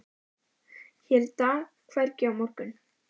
Hér í dag, hvergi á morgun?